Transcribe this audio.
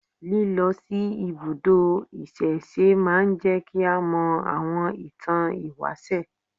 Lílọ sí ibùdó ìsẹ̀se máa ń jẹ́ kí a mọ àwọn ìtàn ìwáṣẹ̀